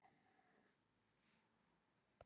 Van der Sar kom til Man.